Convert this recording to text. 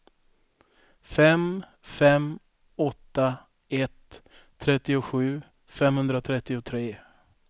fem fem åtta ett trettiosju femhundratrettiotre